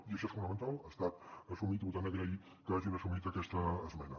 i això és fonamental ha estat assumit i per tant agrair que hagin assumit aquesta esmena